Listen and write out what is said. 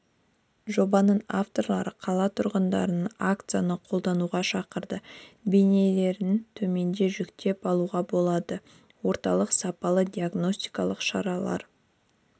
жобаның авторлары қала тұрғындарын акцияны қолдауға шақырады бейнелерін төменде жүктеп алуға болады орталық сапалы диагностикалық шаралар